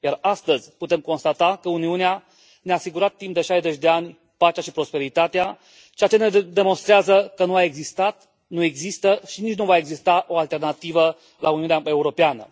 Iar astăzi putem constata că Uniunea ne a asigurat timp de 60 de ani pacea și prosperitatea, ceea ce ne demonstrează că nu a existat, nu există și nici nu va exista o alternativă la Uniunea Europeană.